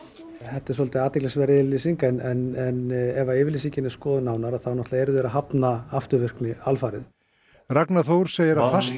þetta er svolítið athyglisverð yfirlýsing en ef að yfirlýsingin er skoðuð nánar þá náttúrulega eru þeir að hafna afturvirkni alfarið Ragnar Þór segir að fast